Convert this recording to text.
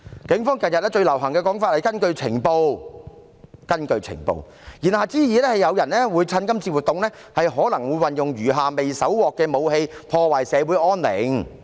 警方近日最流行的說法是"根據情報"，言下之意，是可能有人會趁機使用餘下未搜獲的武器，破壞社會安寧。